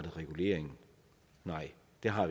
hav